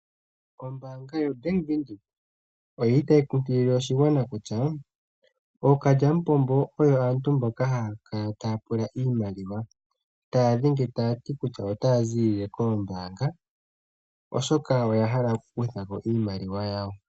Ombaanga yaVenduka oyili tayi kunkilile oshigwana kutya ookalyamupombo oyo aantu mboka haya kala taya pula iimaliwa ,taya dhenge tayati kutya otaya ziilile koombaanga oshoka oyahala okukuthako iimaliwa yawo.